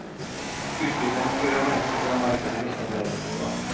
Utbryternes program er nettopp å la markedet bestemme lønnsnivået.